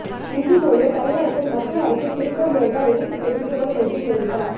இந்தி மொழியை தமிழகத்தில் மத்திய அரசு திணிக்கமுயன்றால் எதிர்ப்பு தெரிவிக்கப்படும் என்றும் தெரிவித்தார்